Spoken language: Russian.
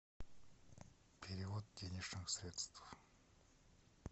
перевод денежных средств